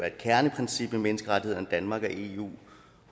et kerneprincip i menneskerettighederne danmark og eu